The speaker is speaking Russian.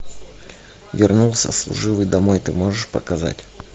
вернулся служивый домой ты можешь показать